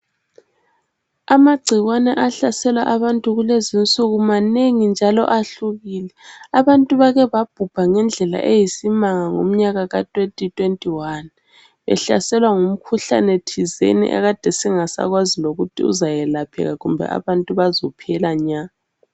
Amagcikwane ahlasela abantu kulezi insuku manengi njalo ahlukile abantu bake babhubha ngendlela eyisimanga ngomnyaka ka 2021 behlaselwa ngumkhuhlane thizeni akade singasakwazi lokuthi uzelapheka kumbe abantu bazophela nya.